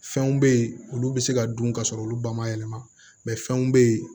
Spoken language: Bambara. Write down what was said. Fɛnw bɛ ye olu bɛ se ka dun ka sɔrɔ olu ba ma yɛlɛma fɛnw bɛ yen